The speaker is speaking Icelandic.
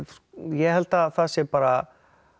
ég held að það sé bara